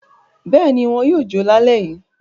Bẹ́ẹ̀ ni, wọn yóò jó lálẹ́ yìí.